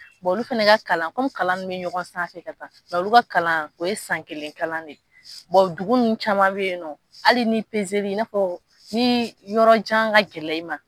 olu fana ka kalan komi kalan ninnu bɛ ɲɔgɔn sanfɛ ka taa mɛ olu ka kalan o ye san kelen de . dugu ninnu caman bɛ yen nɔ hali ni pezeli i n'a fɔ ni yɔrɔjan ka gɛlɛn i ma